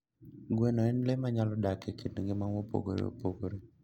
Gweno en le manyalo dak e kit ngima mopogore opogore.